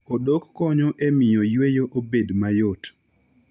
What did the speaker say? Odok konyo e miyo yweyo obed mayot.